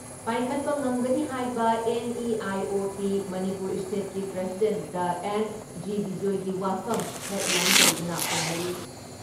ꯄꯥꯏꯈꯠꯄ ꯉꯝꯒꯅꯤ ꯍꯥꯏꯕ ꯑꯦꯟ.ꯏ.ꯑꯥꯏ.ꯑꯣ.ꯄꯤ ꯃꯅꯤꯄꯨꯔ ꯏꯁꯇꯦꯠꯀꯤ ꯄ꯭ꯔꯁꯤꯗꯦꯟ ꯗꯥ ꯑꯦꯟ.ꯖꯤ. ꯕꯤꯖꯣꯏꯒꯤ ꯋꯥꯐꯝ ꯍꯦꯗꯂꯥꯏꯟ ꯇꯧꯗꯨꯅ ꯐꯣꯡꯅꯔꯤ ꯫